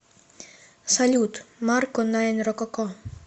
салют марко найн рококо